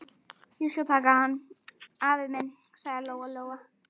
Ég skal taka hann, afi minn, sagði Lóa-Lóa.